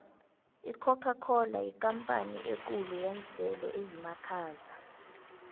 icocacola yikampani ekhulu yenselo ezimakhaza